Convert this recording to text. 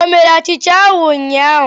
O mere achicha ahụ ụnyahụ?